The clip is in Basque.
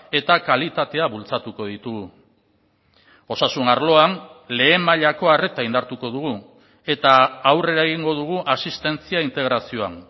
eta kalitatea bultzatuko ditugu osasun arloan lehen mailako arreta indartuko dugu eta aurrera egingo dugu asistentzia integrazioan